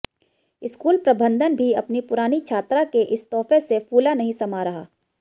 school प्रबंधन भी अपनी पुरानी छात्रा के इस तोहफे से फूला नहीं समा रहा